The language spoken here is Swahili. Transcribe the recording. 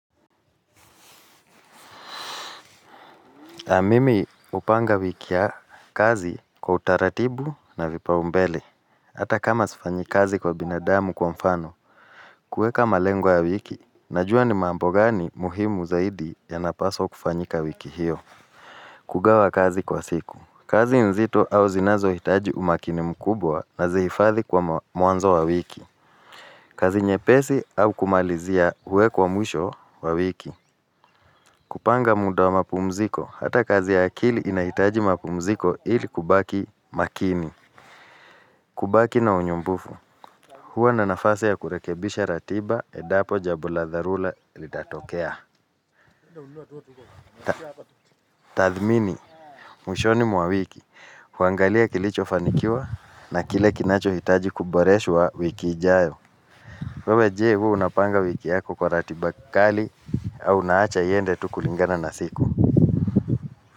Mimi hupanga wiki ya kazi kwa utaratibu na vipaumbele. Hata kama sifanyi kazi kwa binadamu kwa mfano, kuweka malengo ya wiki, najua ni mambo gani muhimu zaidi yanapaswa kufanyika wiki hiyo. Kugawa kazi kwa siku. Kazi nzito au zinazo hitaji umakini mkubwa nazihifadhi kwa mwanzo wa wiki. Kazi nyepesi au kumalizia uwekwa mwisho wa wiki. Kupanga muda wa mapumziko, hata kazi ya akili inahitaji mapumziko ili kubaki makini. Kubaki na unyumbufu, huwa na nafasi ya kurekebisha ratiba endapo jambo la dharura litatokea. Tathmini, mwishoni mwa wiki, huangalia kilicho fanikiwa na kile kinacho hitaji kuboreshwa wiki ijayo. Wewe je huwa unapanga wiki yako kwa ratiba kali au unaacha iende tu kulingana na siku.